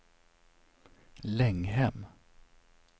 Länghem